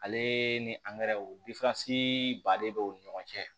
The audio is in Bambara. Ale ni ba de bɛ o ni ɲɔgɔn cɛ